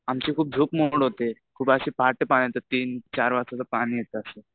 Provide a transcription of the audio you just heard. आमची खूप झोप मोड होते खूप अशी पहाटे पाणी येतं तीनचार वाजता पाणी येतं असं.